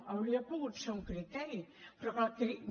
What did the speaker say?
hauria pogut ser un criteri però que el criteri